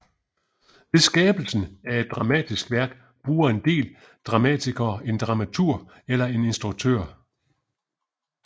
Ved skabelsen af et dramatisk værk bruger en del dramatikere en dramaturg eller en instruktør